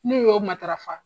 Ne y'o matarafa.